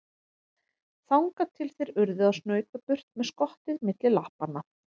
Þangað til þeir urðu að snauta burt með skottið milli lappanna.